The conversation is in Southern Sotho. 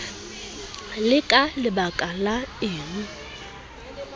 ke ka lebaka la eng